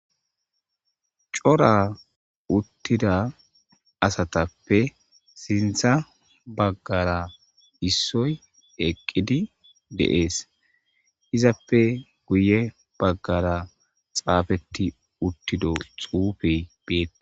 Cora uttida asatappe sintha baggara issoy eqqidi deees izappe guye baggara xaafetti uttido xuufey beet.